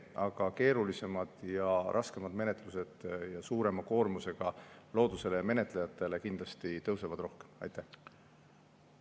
Aga keerulisemate ja raskemate menetluste puhul, mis on suurema koormusega loodusele ja menetlejatele, kindlasti tõusevad rohkem.